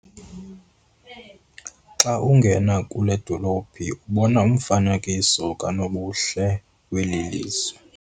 Xa ungena kule dolophu ubona umfanekiso kanobuhle weli lizwe.